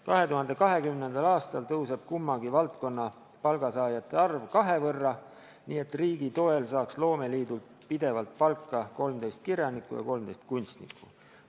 2020. aastal kasvab kummagi valdkonna palgasaajate arv kahe võrra, nii et riigi toel saaks loomeliidult pidevalt palka 13 kirjanikku ja 13 kunstnikku.